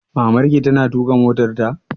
Maman ki ta na tuƙa motarta?